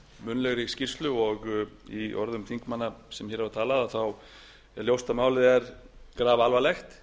munnlegri skýrslu og í orðum þingmanna sem hér hafa talað þá er ljóst að málið er grafalvarlegt